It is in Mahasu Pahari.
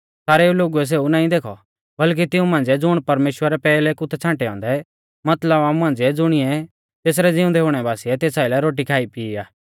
सारेऊ लोगुऐ सेऊ नाईं देखौ बल्कि तिऊं मांझ़िऐ ज़ुण परमेश्‍वरै पैहलै कु थै छ़ांटै औन्दै मतलब आमु मांझ़िऐ ज़ुणिऐ तेसरै ज़िउंदै हुणै बासिऐ तेस आइलै रोटी खाईपीई आ